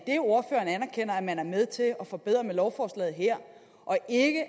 man er med til at forbedre det med lovforslaget her og ikke